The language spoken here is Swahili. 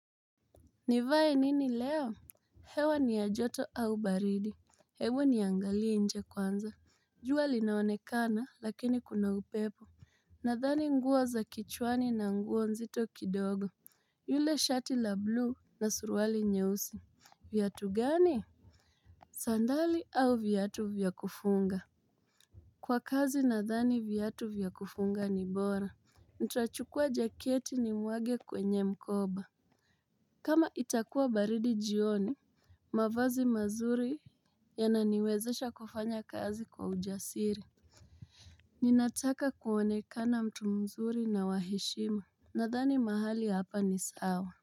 Nivae nini leo. Hewa ni ya joto au baridi. Hebu niangalie nje kwanza. Jua linaonekana lakini kuna upepo. Nadhani nguo za kichwani na nguo nzito kidogo. Yule shati la blue na suruali nyeusi. Viatu gani. Sandali au viatu vya kufunga. Kwa kazi nadhani viatu vya kufunga ni bora. Nitachukua jaketi ni mwage kwenye mkoba. Kama itakuwa baridi jioni mavazi mazuri yananiwezesha kufanya kazi kwa ujasiri. Ninataka kuonekana mtu mzuri na wa heshima. Nadhani mahali hapa ni sawa.